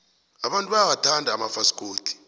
abantu bayawathanda amafasikodi